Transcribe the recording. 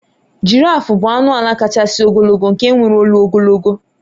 giraffe bụ anụ ala kachasị ogologo nke nwere olu ogologo